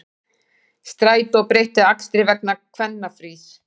Strætó breytir akstri vegna kvennafrís